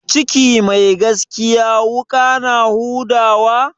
Ciki mai gaskiya wuƙa na huda wa?